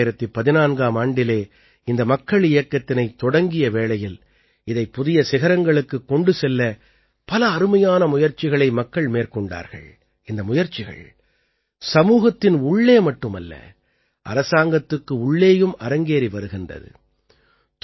2014ஆம் ஆண்டிலே இந்த மக்கள் இயக்கத்தினைத் தொடங்கிய வேளையில் இதைப் புதிய சிகரங்களுக்குக் கொண்டு செல்ல பல அருமையான முயற்சிகளை மக்கள் மேற்கொண்டார்கள் இந்த முயற்சிகள் சமூகத்தின் உள்ளே மட்டுமல்ல அரசாங்கத்துக்கு உள்ளேயும் அரங்கேறி வருகின்றது